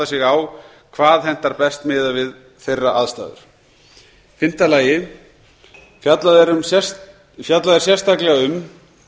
sig á hvað hentar best miðað við þeirra aðstæður fimmta fjallað er sérstaklega um